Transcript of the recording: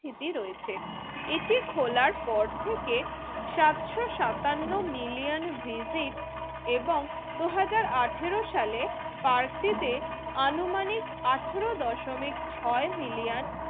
স্থিতি রয়েছে। এটি খোলার পর থেকে সত্য সাতান্ন মিলিয়ন ভিজিট এবং দুই হাজার আঠেরো সালে পার্কটিতে আনুমানিক আঠেরো দশমিক ছয় মিলিয়ন